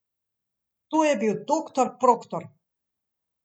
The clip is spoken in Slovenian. To je bil doktor Proktor!